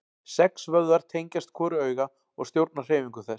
Sex vöðvar tengjast hvoru auga og stjórna hreyfingum þess.